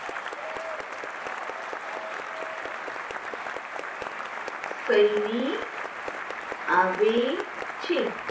સૈનિક આવે છે.